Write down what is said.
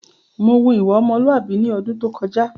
Mò wù ìwà ọmọ́lùàbí ní ọdún tó kọjá